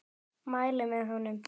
Mæli með honum.